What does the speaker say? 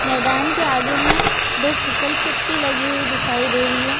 मैदान के आगे में दो फिसल पट्टी लगी हुई दिखाइ दे रही है।